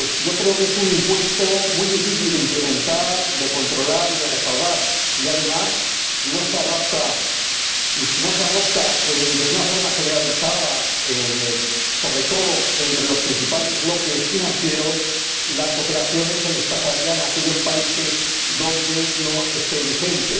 Creo que es un impuesto muy difícil de implementar, de controlar y de recaudar y, además, si no se adopta de una forma generalizada, sobre todo entre los principales bloques financieros, las operaciones se desplazarían a aquellos países donde no estuviera vigente.